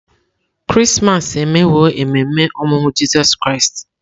Krismas emewo ememe ọmụmụ Jizọs Kraịst.